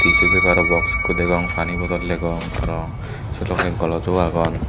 tissu papero box ekko degong pani bodol degong aaro se logey golojo agon.